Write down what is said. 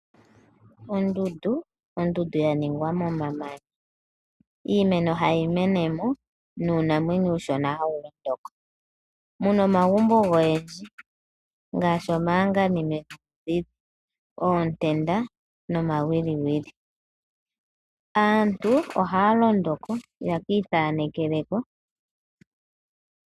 Ondundu Ondundu ya ningwa momamanya. Iimeno hayi mene mo nuunamwenyo uushona hawu londoko, mu na omagumbo goyendji ngaashi omahanganime, oontenda nomawiliwili. Aantu ohaya londo ko yeki ithanekele ko.